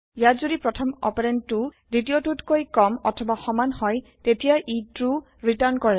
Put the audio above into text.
ইয়াত যদি প্ৰথম অপাৰেন্দটো দ্বিতীয়টোতকৈ কম অথবা সমান হয় তেতিয়া ই ট্ৰো ৰিটাৰ্ণ কৰে